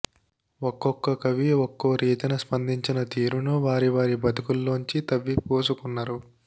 ఒక్కొక్క కవి ఒక్కో రీతిన స్పందించిన తీరును వారి వారి బతుకుల్లోంచి తవ్విపోసుకున్నరు